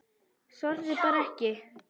Þorði bara ekki.